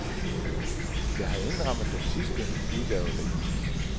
Jeg har indrammet den sidste udgave derhjemme.